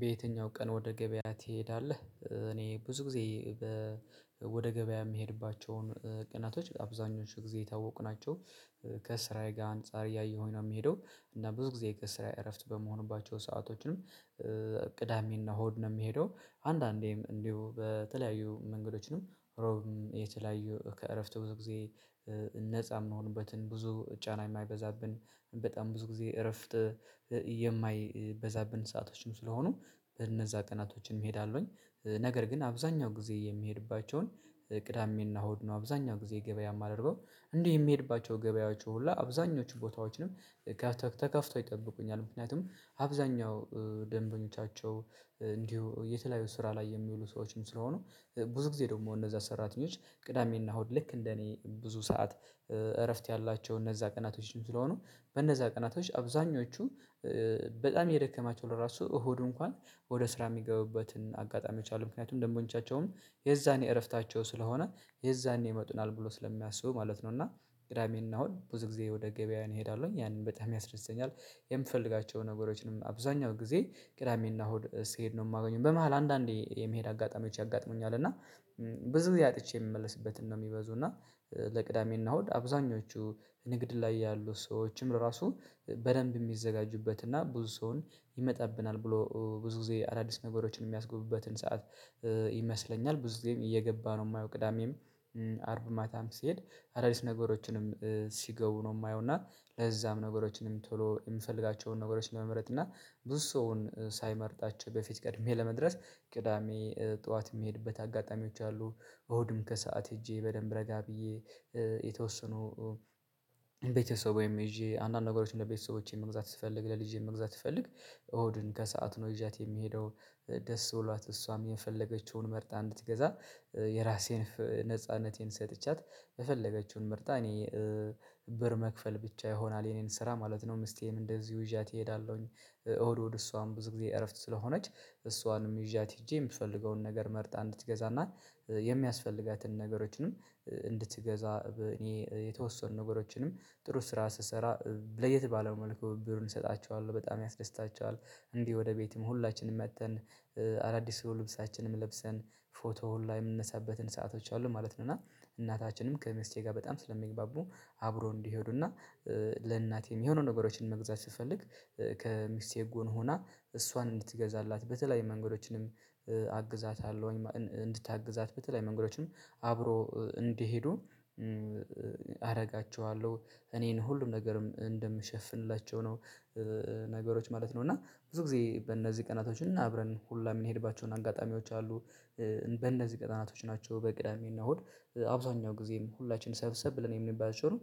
በየትኛው ቀን ወደ ገበያ ትሄዳለህ? እኔ ብዙ ጊዜ ወደ ገበያ የምሄድባቸውን ቀናቶች አብዛኞቹ ጊዜ የታወቁ ናቸው ከስራዬ ጋር አንፃር እያየሁኝ ነው የሚሄደው እና ብዙ ጊዜ ከስራዬ እረፍት በመሆኑባቸው ሰአቶችንም ቅዳሜና እሁድ ነው የምሄደው አንዳንዴም እንዲሁ በተለያዩ መንገዶችንም እሮብም የተለያዩ ከእረፍት ብዙ ጊዜ ነፃ የምንሆንበትን ብዙ ጫና የማይበዛብን በጣም ብዙ ጊዜ እረፍት የማይበዛብን ሰአቶችም ስለሆኑ በእነዛ ቀናቶችን እሄዳለሁኝ ነገር ግን አብዛኛው ጊዜ የሚሄድባቸውን ቅዳሜና እሁድ ነው አብዛኛው ጊዜ ገበያ የማደርገው እንዲህ የሚሄድባቸው ገበያዎቹ ሁላ አብዛኞቹ ቦታዎችንም ተከፍቶ ይጠብቁኛል ምክንያቱም አብዛኛው ደንበኞቻቸው እንዲሁ የተለያዩ ስራ ላይ የሚሉ ሰዎችም ስለሆኑ ብዙ ጊዜ ደግሞ እነዛ ሰራተኞች ቅዳሜና እሁድ ልክ እንደ እኔ ብዙ ሰዓት እረፍት ያላቸው እነዛ ቀናቶችም ስለሆኑ በእነዛ ቀናቶች አብዛኞቹ በጣም የደከማቸው ለራሱ እሁድ እንኳን ወደ ስራ የሚገቡበትን አጋጣሚ የሚቻሉ ምክንያቱም ደግሞ እንጃቸውም የዛኔ እረፍታቸው ስለሆነ የዛኔ ይመጡናል ብሎ ስለሚያስቡ ማለት ነው እና ቅዳሜን እና እሁድ ብዙ ጊዜ ወደ ገበያው እሄዳለሁኝ ያንን በጣም ያስረዘኛል የምፈልጋቸውን ነገሮችንም አብዛኛው ጊዜ ቅዳሜና እሁድ ስሄድ ነው የማገኘው በመሃል አንዳንዴ የመሄድ አጋጣሚዎች ያጋጥሙኛል እና ብዙ ጊዜ አጥቼ የምመለስበትን ነው የሚበዙና ለቅዳሜና እሁድ አብዛኞቹ ንግድ ላይ ያሉ ሰዎችም ለራሱ በደንብ የሚዘጋጁበት እና ብዙ ሰውን ይመጣብናል ብለው ብዙ ጊዜ አዳዲስ ነገሮችን የሚያስገቡበትን ሰዓት ይመስለኛል ብዙ ጊዜም እየገባ ነው የማየው ቅዳሜም አርብ ማታም ስሄድ አዳዲስ ነገሮችንም ሲገቡ ነው የማየው እና ለዛም ነገሮችንም ቶሎ የምፈልጋቸውን ነገሮችን ለመመረጥ እና ብዙ ሰውን ሳይመርጣቸው በፊት ቀድሜ ለመድረስ ቅዳሜ ጠዋት የሚሄድበት አጋጣሚዎች አሉ እሁድም ከሰአት ሄጄ በደንብ ረጋ ብዬ የተወሰኑ ቤተሰቦዬም ይዤ አንዳንድ ነገሮችን ለቤተሰቦቼ መግዛት ስፈልግ ለልጄ መግዛት ስፈልግ እሁድን ከሰአት ነው ይዣት የሚሄደው ደስ ብሏት እሷም የፈለገችውን መርጣ እንድትገዛ የራሴን ነጻነቴን ሰጥቻት የፈለገችውን ምርጥ እኔ ብር መክፈል ብቻ ይሆናል የኔን ስራ ማለት ነው ሚስቴም እንደዚሁ ይዣት እሄዳለሁኝ እሁድ እሁድ እሷም ብዙ ጊዜ እረፍት ስለሆነች እሷንም ይዣት ሄጄ የምፈልገውን ነገር መርጣ እንድትገዛና የሚያስፈልጋትን ነገሮችንም እንድትገዛ እኔ የተወሰኑ ነገሮችንም ጥሩ ስራ ስሰራ ለየት ባለው መልኩ ብሩን እሰጣቸዋለሁ በጣም ያስደስታቸዋል እንዲህ ወደ ቤትም ሁላችንም መጥተን አዳዲስ ልብሳችንም ለብሰን ፎቶ ላይ የምንነሳበትን ሰአቶች አሉ ማለት ነው እና እናታችንም ከሚስቴ ጋር በጣም ስለሚግባቡ አብሮ እንዲሄዱና ለእናቴም የሆነ ነገሮችን መግዛት ስትፈልግ ከሚስቴ ጎን ሆና እሷን እንድትገዛላት በተለይ መንገዶችንም አግዛታለሁኝ እንድታግዛት በተለይ መንገዶችም አብሮ እንዲሄዱ አደርጋቸዋለሁ እኔን ሁሉም ነገርም እንደምሸፍንላቸው ነው ነገሮች ማለት ነው እና ብዙ ጊዜ በእነዚህ ቀናቶች እናብረን ሁላ የምንሄድባቸውን አጋጣሚዎች አሉ በእንደዚህ ቀናቶች ናቸው በቅዳሜ እና እሁድ አብዛኛው ጊዜም ሁላችንም ሰብሰብ ብለን የምንባል አይቻልም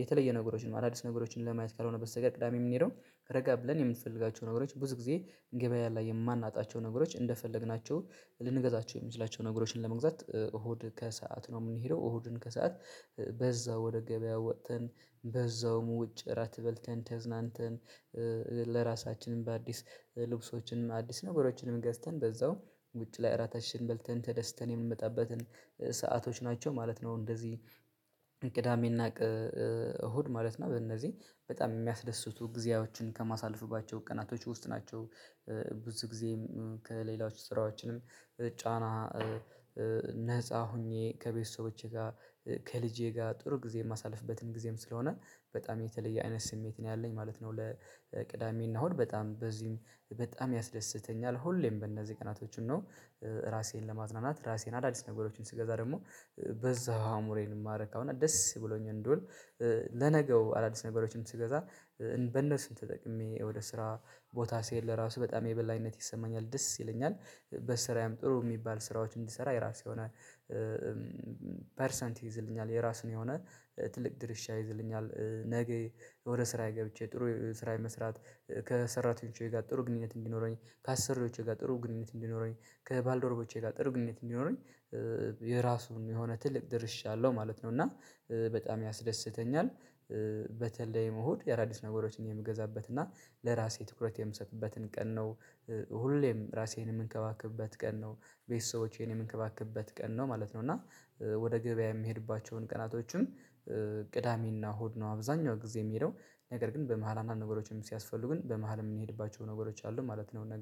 የተለየ ነገሮችን ነው አዳዲስ ነገሮችን ለማየት ካልሆነበት ስቀር ቅዳሜ የምንሄደው ረጋ ብለን የምንፈልጋቸው ነገሮች ብዙ ጊዜ ገበያ ላይ የማናጣቸው ነገሮች እንደፈለግናቸው ልንገዛቸው የምንላቸው ነገሮችን ለመግዛት እሁድ ከሰአት ነው የምንሄደው እሁዱን ከሰአት በዛው ወደ ገበያው ወጥተን በዛውም ውጭ እራት በልተን ተዝናንተን ለራሳችንም በአዲስ ልብሶችንም አዲስ ነገሮችንም ገዝተን በዛው ውጭ ላይ እራታችንን በልተን ተደስተን የምንመጣበትን ሰአቶች ናቸው ማለት ነው እንደዚህ እቅዳሜና እሁድ ማለት ነው በእነዚህ በጣም የሚያስደስቱ ጊዜያዎችን ከማሳለፍባቸው ቀናቶች ውስጥ ናቸው ብዙ ጊዜም ከሌላዎች ስራዎችንም ጫና ነፃ ሆኜ ከቤተሰቦቼ ጋር ከልጄ ጋር ጥሩ ጊዜ የማሳልፍበትን ጊዜም ስለሆነ በጣም የተለየ አይነት ስሜት ነው ያለኝ ማለት ነው ለቅዳሜ እናሁን በጣም በዚህም በጣም ያስደስተኛል ሁሌም በእነዚህ ቀናቶች ነው ራሴን ለማዝናናት ራሴን አዳዲስ ነገሮችን ስገዛ ደግሞ በዛ አእምሮየን የማረካው እና ደስ ብሎኝ እንድውል ለነገው አዳዲስ ነገሮችን ስገዛ በእነሱን ተጠቅሜ ወደ ስራ ቦታ ስሄድ ለራሱ በጣም የበላይነት ይሰማኛል ደስ ይለኛል በስራዬም ጥሩ የሚባል ስራዎች እንዲሰራ የራሴ የሆነ ፐርሰንት ይይዝልኛል የራሱን የሆነ ትልቅ ድርሻ ይይዝልኛል ነገ ወደ ስራዬ ገብቼ ጥሩ ስራዬ መስራት ከሰራተኞቼ ጋር ጥሩ ግንኙነት እንዲኖረኝ ከአሰሪዎቼ ጋር ጥሩ ግንኙነት እንዲኖረኝ ከባልዶሮቼ ጋር ጥሩ ግንኙነት እንዲኖረኝ የራሱን የሆነ ትልቅ ድርሻ አለው ማለት ነው እና በጣም ያስደስተኛል በተለይ እሁድ የአዳዲስ ነገሮችን የምገዛበት እና ለራሴ ትኩረት የምሰጥበትን ቀን ነው ሁሌም ራሴን የምንከባክብበት ቀን ነው ቤተሰቦቼን የምንከባክብበት ቀን ነው ማለት ነው እና ወደ ገበያ የምሄድባቸውን ቀናቶችም ቅዳሜና ሆድ ነው አብዛኛው ጊዜ የምሄደው ነገር ግን በመሃል አንዳንድ ነገሮችም ሲያስፈልጉ ግን በመሃል የምንሄድባቸው ነገሮች አሉ ማለት ነው